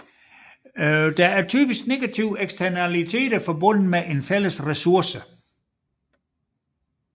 Der er typisk negative eksternaliteter forbundet med en fælles ressource